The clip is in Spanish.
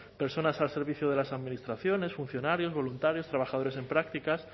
personas al servicio de las administraciones funcionarios voluntarios trabajadores en prácticas